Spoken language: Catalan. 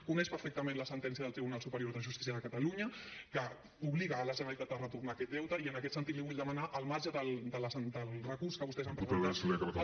coneix perfectament la sentència del tribunal superior de justícia de catalunya que obliga la generalitat a retornar aquest deute i en aquest sentit li vull demanar al marge del recurs que vostès han presentat